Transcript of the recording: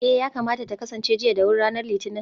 eh, yakamata ta kasance jiya da wuri ranar litinin